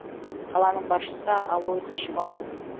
қаланың басшысы алойс шваб